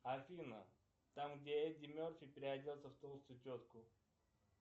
афина там где эдди мерфи переоделся в толстую тетку